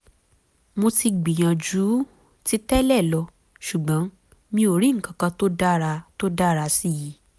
mo ti gbìyànjú ju ti tẹ́lẹ̀ lọ ṣùgbọ́n mi ò rí nǹkan tó dára tó dára sí i